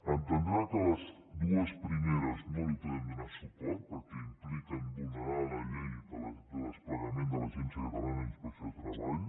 entendrà que a les dues primeres no hi podem donar suport perquè impliquen vulnerar la llei de desplegament de l’agència catalana d’inspecció de treball